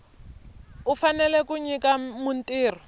u fanele ku nyika mutirhi